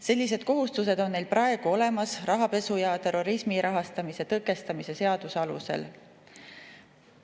Sellised kohustused on neil praegu olemas rahapesu ja terrorismi rahastamise tõkestamise seaduse alusel.